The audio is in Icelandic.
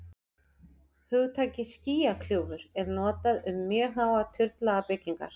hugtakið skýjakljúfur er notað um mjög háar turnlaga byggingar